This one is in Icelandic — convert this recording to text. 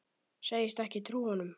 Segist ekki trúa honum.